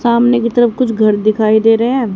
सामने की तरफ कुछ घर दिखाई दे रहे हैं।